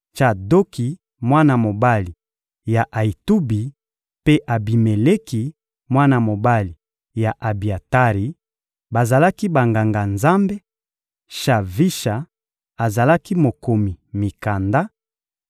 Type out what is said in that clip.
Tsadoki, mwana mobali ya Ayitubi, mpe Abimeleki, mwana mobali ya Abiatari, bazalaki Banganga-Nzambe; Shavisha azalaki mokomi mikanda;